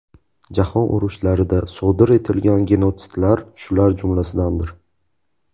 Jahon urushlarida sodir etilgan genotsidlar shular jumlasidandir.